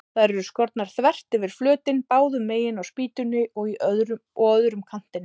Þær eru skornar þvert yfir flötinn, báðu megin á spýtunni og á öðrum kantinum.